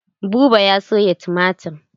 Buba ya soya tumatir.